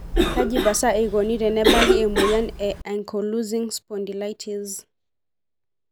Kaji pasa eikoni tenebaki emoyian e ankylosing spondylitis?